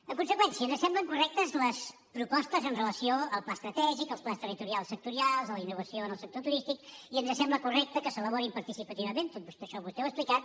en conseqüència ens semblen correctes les propostes amb relació al pla estratègic als plans territorials sectorials a la innovació en el sector turístic i ens sembla correcte que s’elaborin participativament tot això vostè ho ha explicat